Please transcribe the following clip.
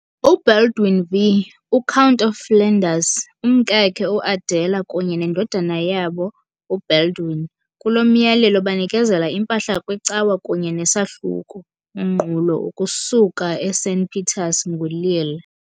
UBaldwin V, u-Count of Flanders, umkakhe uAdela kunye nendodana yabo uBaldwin, kulo myalelo banikezela impahla kwicawa kunye neSahluko, unqulo, ukusuka eSint-Pieters nguLille.